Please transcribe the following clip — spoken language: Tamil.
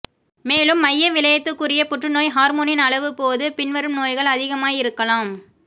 மேலும் மையவிழையத்துக்குரிய புற்றுநோய் ஹார்மோனின் அளவு போது பின்வரும் நோய்கள் அதிகமாய் இருக்கலாம்